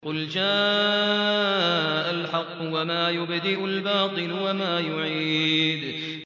قُلْ جَاءَ الْحَقُّ وَمَا يُبْدِئُ الْبَاطِلُ وَمَا يُعِيدُ